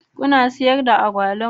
Kuna sayar da agwaluma?